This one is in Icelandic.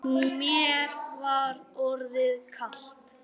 Óhult einsog þær.